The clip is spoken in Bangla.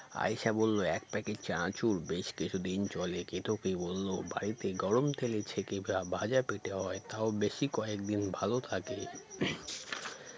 আয়েশা বলল এক packet চানাচুর বেশ কিছুদিন চলে কেতকী বলল বাড়িতে গরম তেলে ছেকে ভা ভাজা পেটে হয় তাও বেশি কয়েকদিন ভালো থাকে